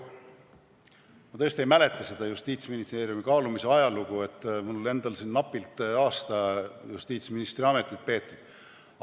Ma tõesti ei mäleta seda Justiitsministeeriumi kaalumise ajalugu, mul on endal alles napilt aasta justiitsministri ametit peetud.